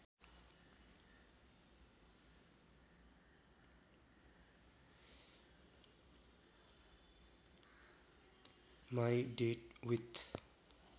my date with